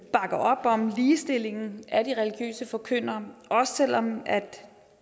op om ligestillingen af de religiøse forkyndere også selv om